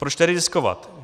Proč tedy riskovat?